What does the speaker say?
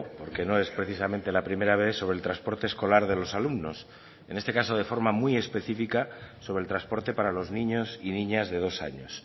porque no es precisamente la primera vez sobre el transporte escolar de los alumnos en este caso de forma muy específica sobre el transporte para los niños y niñas de dos años